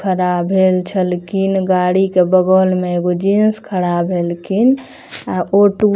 खड़ा भेल छलखिन गाड़ी के बगल में एगो जेंट्स खड़ा भेलखिन अ ऑटो --